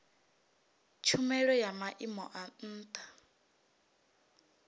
tshumelo ya maimo a ntha